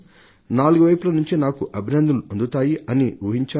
నాలుగు వైపుల నుంచి నాకు అభినందనలు అందుతాయి అని ఊహించాను